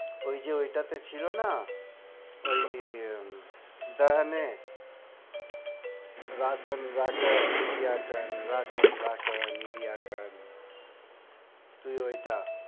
ওই যে ওইটা তে ছিল না, ওই দাহানে । তুই ওইটা।